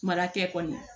Mara kɛ kɔni